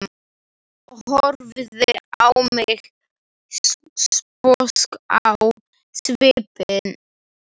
Horfði á mig sposk á svipinn.